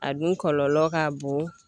A dun kɔlɔlɔ ka bon.